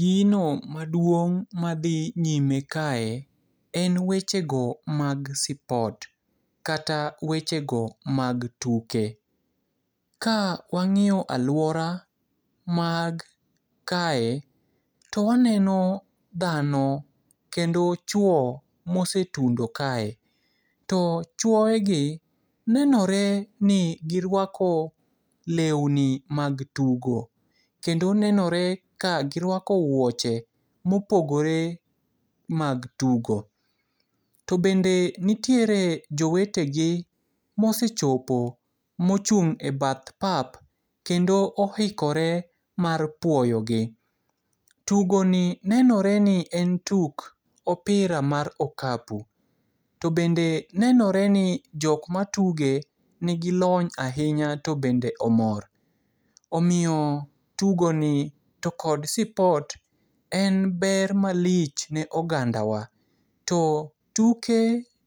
Gino maduong' madhi nyime kae, en wechego mag sipot kata wechego mag tuke. Ka wang'iyo aluora mag kae, to waneno dhano kendo chwo mosetundo kae. To chuoegi nenore ni giruako leuni mag tugo, kendo nenoreni ka giruako wuoche mopogore mag tugo . To bende nitiere jowetegi mosechopo, mochung' e badh pap, kendo oikore mar puoyo gi. Tugoni nenoreni en tuk opira mar okapu. To bende nenoreni jok matuge nigi lony ahinya to bende omor. Omiyo tugoni to kod sipot en ber malich ne oganda wa. To tuke